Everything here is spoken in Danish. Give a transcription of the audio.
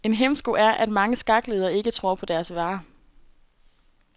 En hæmsko er, at mange skakledere ikke tror på deres vare.